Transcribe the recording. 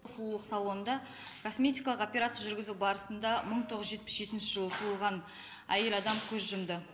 сұлулық салонында косметикалық операция жүргізу барысында мың тоғыз жүз жетпіс жетінші жылы туылған әйел адам көз жұмды